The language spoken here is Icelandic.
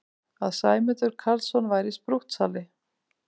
Að Sæmundur Karlsson væri sprúttsali!